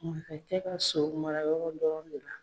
Masakɛ ka so mara yɔrɔ dɔrɔn de la.